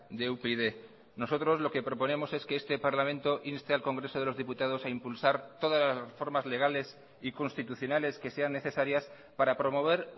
de upyd nosotros lo que proponemos es que este parlamento inste al congreso de los diputados a impulsar todas las formas legales y constitucionales que sean necesarias para promover